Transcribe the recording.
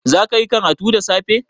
Zaka yi karatu da safe?